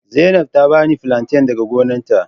Zainab ta bani flanten daga gonarta.